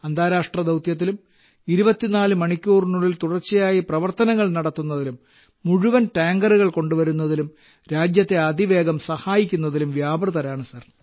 അന്താരാഷ്ട്ര ദൌത്യത്തിലും 24 മണിക്കൂറിനുള്ളിൽ തുടർച്ചയായി പ്രവർത്തനങ്ങൾ നടത്തുന്നതിലും മുഴുവൻ ടാങ്കറുകൾ കൊണ്ടുവരുന്നതിലും രാജ്യത്തെ അതിവേഗം സഹായിക്കുന്നതിലും വ്യാപൃതരാണ് സർ